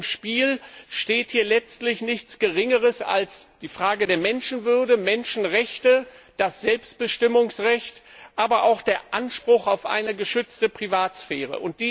Auf dem Spiel steht hier letztlich nichts Geringeres als die Frage der Menschenwürde, Menschenrechte, das Selbstbestimmungsrecht, aber auch der Anspruch auf eine geschützte Privatsphäre.